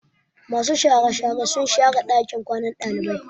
Masu share share sun share ɗakin kwanan ɗalibai.